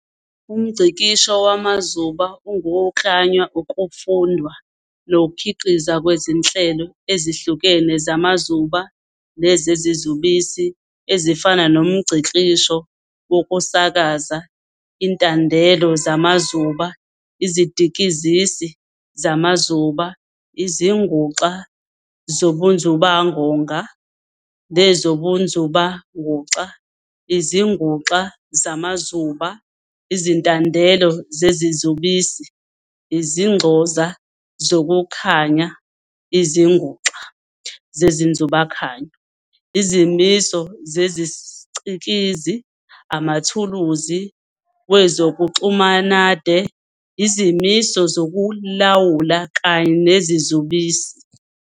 UmNgcikisho wamazuba ungukuklanywa, ukufundwa, nokukhiqizwa kwezinhlelo ezihlukene zamazuba nezezizubisi, ezifana nomNgcikisho wokusakaza, izintandelo zamazuba, izidikizisi zamazuba, izinguxa zobunzubawonga nezobunzubanguxa, izinguxa zamazuba, izintandelo zezizubisi, izinxoza zokukhanya, izinguxa zenzubakhanyo, izimiso zesicikizi, amathuluzi wezokuxumanade, izimiso zokulawula, kanye nezizubisi.